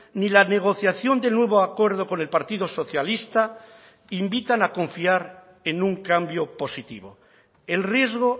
ni la negociación del nuevo acuerdo con el partido socialista invitan a confiar en un cambio positivo el riesgo